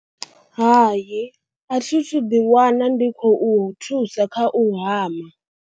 Hai, a thi thu ḓiwana ndi khou thusa kha u hama.